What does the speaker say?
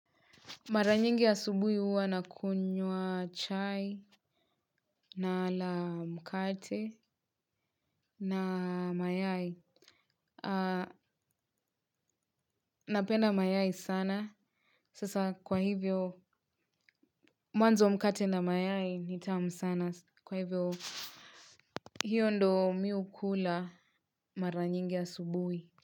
Mara nyingi asubuhi huwa nakunywa chai na mkate na mayai. Napenda mayai sana. Sasa kwa hivyo, mwanzo mkate na mayai nitamu sana. Kwa hivyo, hiyo ndo mi hukula mara nyingi asubuhi.